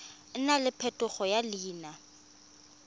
nna le phetogo ya leina